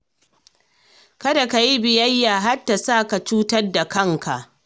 Kada ka yi biyayya har ta sa ka cutar da kanka.